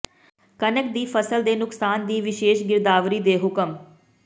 ਕਣਕ ਦੀ ਫ਼ਸਲ ਦੇ ਨੁਕਸਾਨ ਦੀ ਵਿਸ਼ੇਸ਼ ਗਿਰਦਾਵਰੀ ਦੇ ਹੁਕਮ